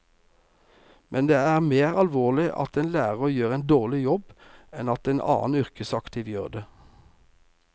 Men det er mer alvorlig at en lærer gjør en dårlig jobb enn at en annen yrkesaktiv gjør det.